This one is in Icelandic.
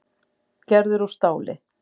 Gerður úr stáli.